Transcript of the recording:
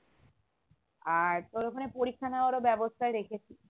আর তোর ওখানে পরীক্ষা নেওয়ারও ব্যাবস্থাই রেখেছি